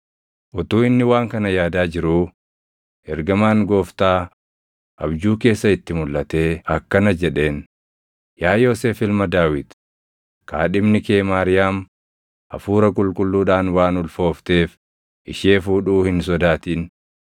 Utuu inni waan kana yaadaa jiruu, ergamaan Gooftaa abjuu keessa itti mulʼatee akkana jedheen; “Yaa Yoosef ilma Daawit, kaadhimni kee Maariyaam Hafuura Qulqulluudhaan waan ulfoofteef ishee fuudhuu hin sodaatin.